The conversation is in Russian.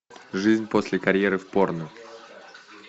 жизнь после карьеры в порно